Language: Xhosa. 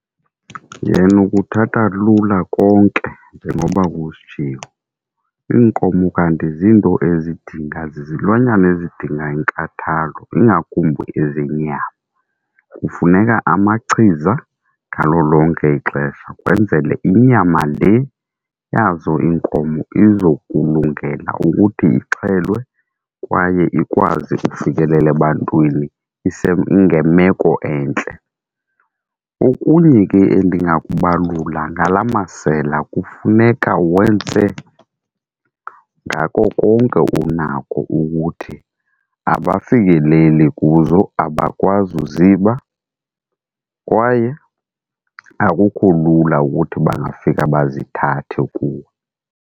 Yena ukuthatha lula konke, njengoba kusitshiwo. Iinkomo kanti zinto ezidinga, zizilwanyana ezidinga inkathalo ingakumbi ezenyama kufuneka amachiza ngalo lonke ixesha, kwenzele inyama le yazo inkomo izokulungela ukuthi ixhelwe kwaye ikwazi ukufikelela ebantwini ise ngemeko entle. Okunye ke endingakubalula ngala masela, kufuneka wenze ngako konke unako ukuthi abafikeleli kuzo, abakwazi uziba kwaye akukho lula ukuthi bangafika bazithathe kuwe.